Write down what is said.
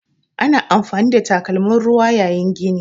Ana amfani da takalmin ruwa yayin gini.